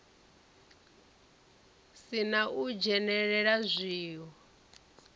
si na u dzhenelela zwiwo